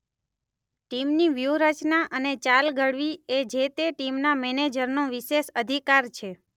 ટીમની વ્યૂહરચના અને ચાલ ઘડવી એ જે તે ટીમના મેનેજરનો વિશેષ અધિકાર છે.